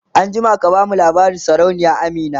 an jima ka bamu labarin sarauniya Amina!